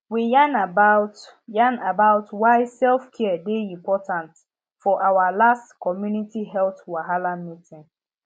we yarn about yarn about why selfcare dey important for our last community health wahala meeting